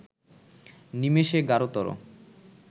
নিমেষে গাঢ়তর